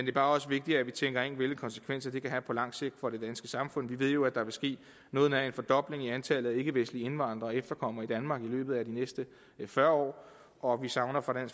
er bare også vigtigt at vi tænker ind hvilke konsekvenser det kan have på lang sigt for det danske samfund vi ved jo at der vil ske noget nær en fordobling i antallet af ikkevestlige indvandrere og efterkommere i danmark i løbet af de næste fyrre år og vi savner fra